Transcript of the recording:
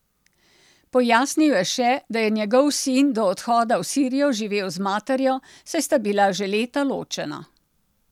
Pojasnil je še, da je njegov sin do odhoda v Sirijo živel z materjo, saj sta bila že leta ločena.